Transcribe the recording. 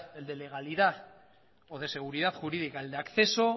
el de legalidad o de seguridad jurídica el de acceso